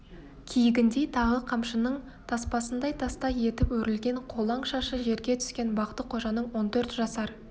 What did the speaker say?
киігіндей тағы қамшының таспасындай тастай етіп өрілген қолаң шашы жерге түскен бақты-қожаның он төрт жасар